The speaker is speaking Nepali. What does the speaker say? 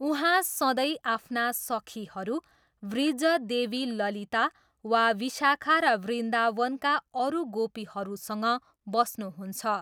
उहाँ सधैँ आफ्ना सखीहरू वृज देवी ललिता वा विशाखा र वृन्दावनका अरु गोपीहरूसँग बस्नुहुन्छ।